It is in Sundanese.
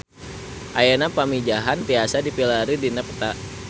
Ayeuna Pamijahan tiasa dipilarian dina peta